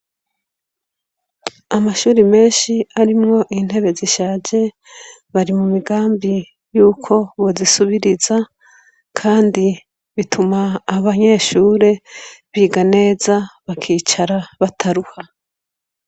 Amashure menshi arimwo intebe zishaje, bari mu migambi yuko bozisubiriza, kandi bituma abanyeshure biga neza, bakicara bataruha.